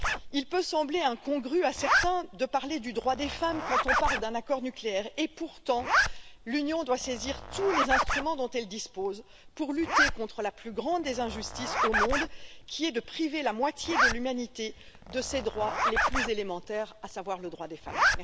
Il peut sembler incongru à certains de parler du droit des femmes quand on parle d'un accord nucléaire. Pourtant l'Union doit saisir tous les instruments dont elle dispose pour lutter contre la plus grande des injustices au monde qui est de priver la moitié de l'humanité de ses droits les plus élémentaires, à savoir le droit des femmes.